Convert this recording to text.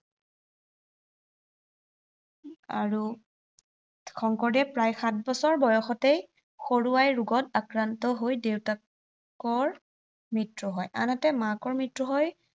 আৰু শংকৰদেৱ প্ৰায় সাত বছৰ বয়সতেই সৰু আই ৰোগত আক্ৰান্ত হৈ দেউতাকৰ মৃত্য়ু হয়। আনহাতে মাকৰ মৃত্য়ু হয়